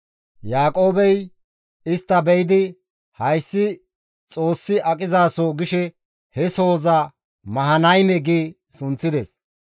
Yaaqoobey istta be7idi, «Hayssi Xoossi aqizaso» gishe he sohoza Mahanayme gi sunththides.